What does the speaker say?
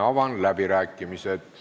Avan läbirääkimised.